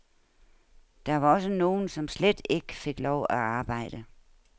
Der var også nogle, som slet ikke fik lov at arbejde.